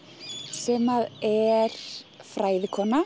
sem er